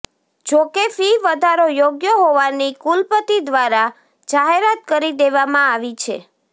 જોકે ફી વધારો યોગ્ય હોવાની કુલપતિ દ્વારા જાહેરાત કરી દેવામાં આવી છે